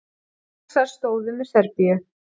Rússar stóðu með Serbíu.